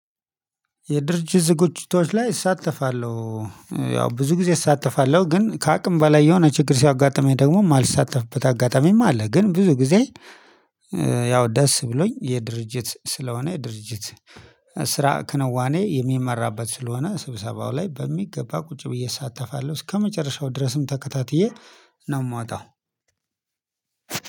የድርጅት ዝግጅቶች ላይ እሳተፋለሁ። ያው ብዙ ጊዜ እሳተፋለሁ፤ ግን ከአቅም በላይ የሆነ ችግር ሲያጋጥመኝ ደግሞ የማልሳተፍበት አጋጣሚም አለ። ግን ብዙ ጊዜ ያው ደስ ብሎኝ የድርጅት ስለሆነ ድርጅት ስራ ክንዋኔ የሚመራበት ስለሆነ ስብሰባው ላይ በሚገባ ቁጭ ብዬ እሳተፋለሁ። እስከመጨረሻው ድረስም ተከታትዬ ነው ምወጣው።